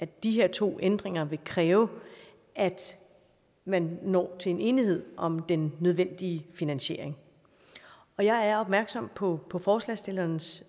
de her to ændringer vil kræve at man når til en enighed om den nødvendige finansiering og jeg er opmærksom på på forslagsstillernes